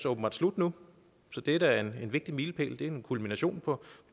åbenbart slut nu så det er da en vigtig milepæl det er en kulmination på